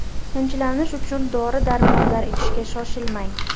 Tinchlanish uchun dori-darmonlar ichishga shoshilmang.